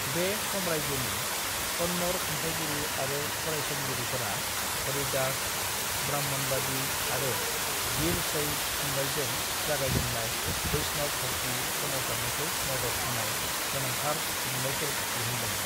"बे साम्रायजोनि कन्नड़ खन्थाइगिरि आरो फरायसंगिरिफोरा हरिदास, ब्राह्मणबादी आरो वीरशैव थुनलाइजों जागायजेननाय बैष्णव भक्ति सोमावसारनायखौ मदद होनाय गोनांथार लिरनायफोर दिहुनदों।"